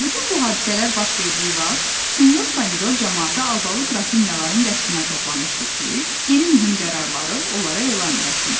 Bütün bu hadisələr baş verdiyi vaxt sinyor Pomidor camaatı albalı qrafinyaların qəsrinə toplamışdı ki, yeni mühüm qərarları onlara elan eləsin.